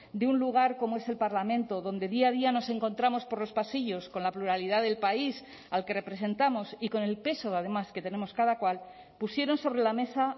de un lugar como es el parlamento donde día a día nos encontramos por los pasillos con la pluralidad del país al que representamos y con el peso además que tenemos cada cual pusieron sobre la mesa